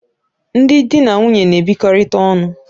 Ndị di na nwunye na-ebikọkarị ọnụ.